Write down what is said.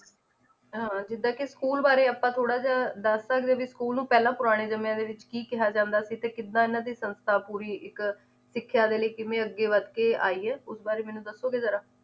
ਹਾਂ ਜਿਦਾ ਕੇ school ਬਾਰੇ ਆਪਾਂ ਥੋੜਾ ਜੇਹਾ ਦੱਸ ਸਕਦੇ ਆ ਵੀ school ਨੂੰ ਪਹਿਲਾਂ ਪੁਰਾਣੇ ਸਮਿਆਂ ਦੇ ਵਿੱਚ ਕੀ ਕਿਹਾ ਜਾਂਦਾ ਸੀ ਤੇ ਕਿਦਾ ਇਹਨਾਂ ਦੀ ਸੰਸਥਾ ਪੂਰੀ ਇੱਕ ਸਿੱਖਿਆ ਦੇ ਲਈ ਕਿਵੇਂ ਅੱਗੇ ਵਧਕੇ ਆਈ ਏ ਉਸ ਬਾਰੇ ਮੈਨੂੰ ਦੱਸੋਗੇ ਜਰਾ